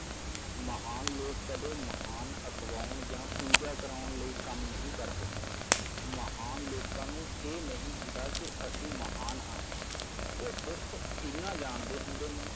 ਮਹਾਨ ਲੋਕ ਕਦੇ ਮਹਾਨ ਅਖਵਾਉਣ ਜਾਂ ਪੂਜਾ ਕਰਾਉਣ ਲਈ ਕੰਮ ਨਹੀ ਕਰਦੇ ਮਹਾਨ ਲੋਕਾਂ ਨੂੰ ਇਹ ਨਹੀ ਹੁੰਦਾ ਕਿ ਅਸੀ ਮਹਾਨ ਹਾਂ ਉਹ ਸਿਰਫ਼ ਇਹਨਾਂ ਜਾਣਦੇ ਹੁੰਦੇ ਨੇ